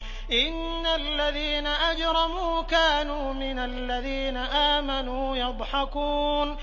إِنَّ الَّذِينَ أَجْرَمُوا كَانُوا مِنَ الَّذِينَ آمَنُوا يَضْحَكُونَ